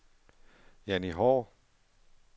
Janni Haahr